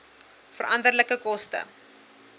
veranderlike koste